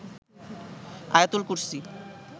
আয়াতুল কুরসী